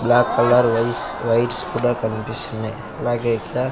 black colour వైస్ wires కుడా కన్పిస్తున్నయ్ అలాగే ఇక్కడ--